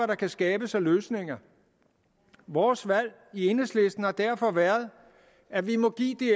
der kan skabes af løsninger vores valg i enhedslisten har derfor været at vi må give de